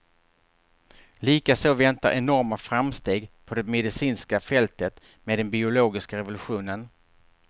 Likaså väntar enorma framsteg på det medicinska fältet, med den biologiska revolutionen.